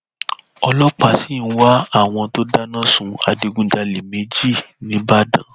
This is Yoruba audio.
ọlọpàá sì ń wá àwọn tó dáná sun adigunjalè méjì ńìbàdàn